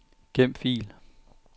Gem fil.